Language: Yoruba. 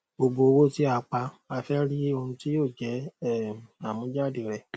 gbogbo owó tí a pa a fẹ ríi ohun tí yóò jẹ um àmújáde rẹ